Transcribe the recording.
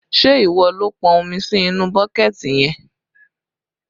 Ṣé ìwọ ló pọn omi sí inú bọ́kẹ̀ẹ̀tì yẹn?